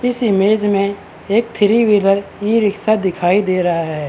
इस इमेज में एक थ्री व्हीलर इ रिक्शा दिखाई दे रहा है।